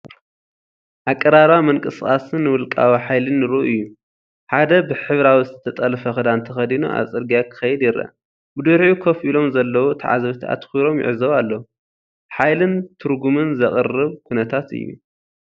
ኣቀራርባ ምንቅስቓስን ውልቃዊ ሓይልን ርኡይ እዩ፤ ሓደ ብሕብራዊ ዝተጠልፈ ክዳን ተኸዲኑ ኣብ ጽርግያ ክኸይድ ይረአ፤ ብድሕሪኡ ኮፍ ኢሎም ዘለዉ ተዓዘብቲ ኣተኲሮም ይዕዘቡ ኣለዉ። ሓይልን ትርጉምን ዘቕርብ ኩነታት እዩ።